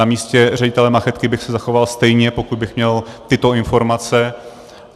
Na místě ředitele Machytky bych se zachoval stejně, pokud bych měl tyto informace.